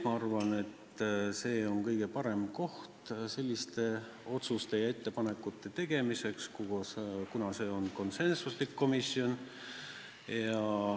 Ma arvan, et see on kõige parem koht selliste otsuste ja ettepanekute tegemiseks, kuna see on konsensuslikult otsuseid tegev komisjon.